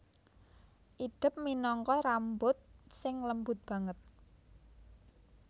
Idep minangka rambut sing lembut banget